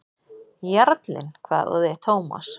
Jarlinn? hváði Thomas.